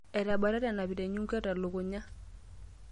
Atabatate anapita enyungu telukunya.